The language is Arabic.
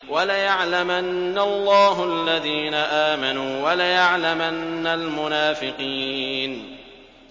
وَلَيَعْلَمَنَّ اللَّهُ الَّذِينَ آمَنُوا وَلَيَعْلَمَنَّ الْمُنَافِقِينَ